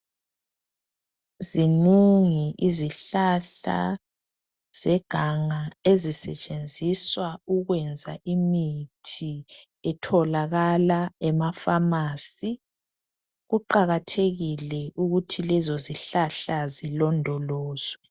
Zinengi izihlahla zeganga ezisetshenziswa ukwenza imithi etholakala ema pharmacy kuqakathekile ukuthi lezo zihlahla zilondolozwe.